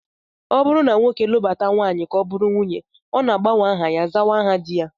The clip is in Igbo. Ọ bụrụ na nwoke lụbata nwaanyị ka ọ bụrụ nwunye ya, ọ na-agbanwe aha ya, zawa aha di ha